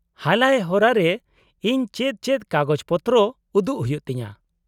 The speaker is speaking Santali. -ᱦᱟᱞᱟᱭ ᱦᱚᱨᱟ ᱨᱮ ᱤᱧ ᱪᱮᱫ ᱪᱮᱫ ᱠᱟᱜᱚᱡᱯᱚᱛᱨᱚ ᱩᱫᱩᱜ ᱦᱩᱭᱩᱜ ᱛᱤᱧᱟᱹ ?